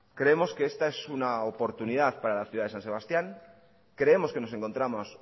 creemos que esta es una oportunidad para la ciudad de san sebastián creemos que nos encontramos